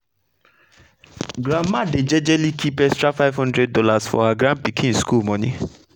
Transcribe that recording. grandma dey jejely kip extra five hundred dollars for her grandpikin school moni.